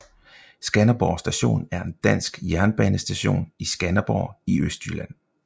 Skanderborg Station er en dansk jernbanestation i Skanderborg i Østjylland